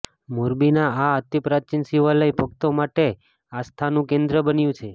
મોરબીનું આ અતિપ્રાચીન શિવાલય ભક્તો માટે આસ્થાનું કેન્દ્ર બન્યુ છે